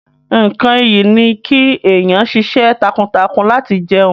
Nkán ìyí ni ki eniyan ṣiṣẹ́ takuntakun lati jẹun.